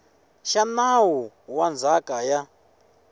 xa nawu wa ndzhaka ya